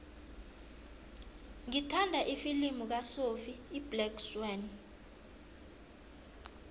ngithanda ifilimu kasophie iblack swann